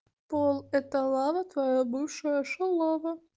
пол это лава твоя бывшая шалава